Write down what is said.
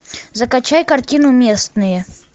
закачай картину местные